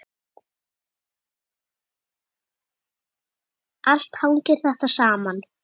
Allt hangir þetta saman.